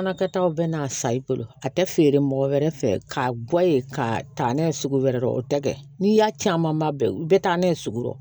Fana kɛtaw bɛ n'a sa i bolo a tɛ feere mɔgɔ wɛrɛ fɛ ka guwe ka taa n'a ye sugu wɛrɛ o tɛ kɛ n'i y'a camanba bɛɛ ta ne ye sugu dɔ